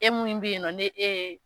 E min bɛ yen nɔn ni ee.